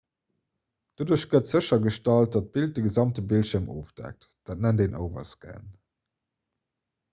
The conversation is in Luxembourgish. doduerch gëtt séchergestallt datt d'bild de gesamte bildschierm ofdeckt dat nennt een overscan